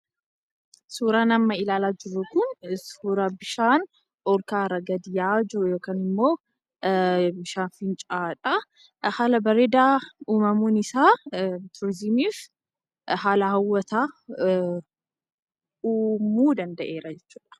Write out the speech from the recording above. Suuraan amma ilaalaa jirru kun suuraa bishaan olka'aa irraa gadi bu'aa jiru yookaan immoo fincaa'aadha. Haala bareedaan uumamuun isaa turizimiidhaaf haala hawwataa uumuu danda'eera jechuudha.